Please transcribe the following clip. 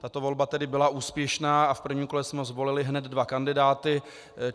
Tato volba tedy byla úspěšná a v prvním kole jsme zvolili hned dva kandidáty.